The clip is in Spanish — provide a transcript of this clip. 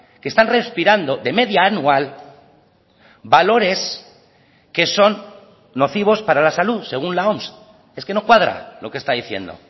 que están respirando de media anual valores que son nocivos para la salud según la oms es que no cuadra lo que está diciendo o